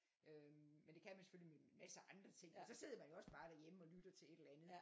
Øhm men det kan man selvfølgelig med en masse andre ting og så sidder man jo også bare derhjemme og lytter til et eller andet